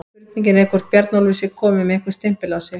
Spurning er hvort Bjarnólfur sé kominn með einhvern stimpil á sig?